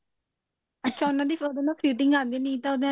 ਅੱਛਾ ਉਹਨਾ ਦੀ ਉਹਦੇ ਨਾਲ fitting ਆਉਂਦੀ ਹੈ ਨਹੀ ਤਾਂ ਉਹਨੇ